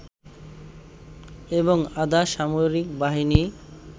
এবং আধা সামরিক বাহিনী